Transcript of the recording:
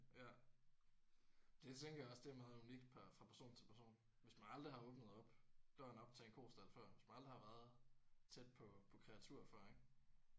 Ja. Det tænker jeg også det er meget unikt per fra person til person. Hvis man aldrig har åbnet op døren op til en kostald før hvis man aldrig har været tæt på på kreatur før ik